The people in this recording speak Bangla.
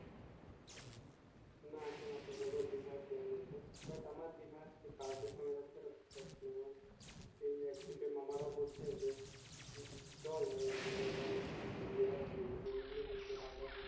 না এখন আপাতত দিঘার প্লান আছে বাট আমার দিঘার কাজ এই একদিকে মামারও বলছে চল আরেক দিঘা বার মেয়ে রাও বলছে বন্ধু গুলো বলছে